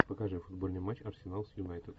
покажи футбольный матч арсенал с юнайтед